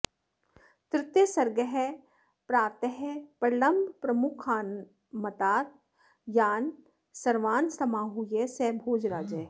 तृतीयः सर्गः प्रातः प्रलम्बप्रमुखानमात्यान् सर्वान् समाहूय स भोजराजः